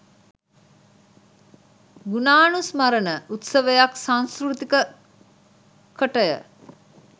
ගුණානුස්මරණ උත්සවයක් සංස්කෘතික කටය